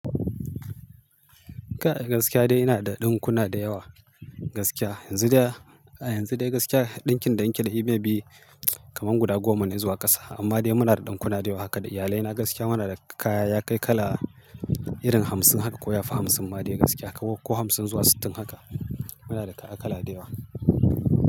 Kai gaskiya dai ina da ɗinkuna da yawa gaskiya. Yanzu dai, a yanzu dai gaskiya ɗinkin da in ke da shi maybe kaman guda goma ne zuwa ƙasa. Amma dai muna da ɗinkuna da yawa haka da iyalai na gaskiya muna da kaya ya kai kala irin hamsin haka ko yafi hamsin ma dai gaskiya ko hamsin zuwa sittin haka. Muna da kaya kala da yawa.